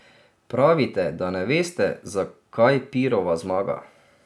Pravite, da ne veste, zakaj pirova zmaga.